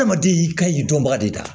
Adamaden y'i ka ɲi dɔnbaga de ye